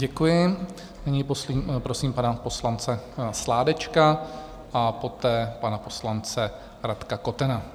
Děkuji, nyní prosím pana poslance Sládečka a poté pana poslance Radka Kotena.